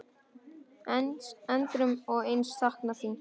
Endrum og eins saknað þín.